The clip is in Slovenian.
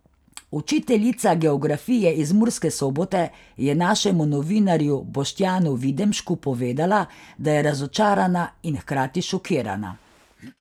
Učiteljica geografije iz Murske Sobote je našemu novinarju Boštjanu Videmšku povedala, da je razočarana in hkrati šokirana.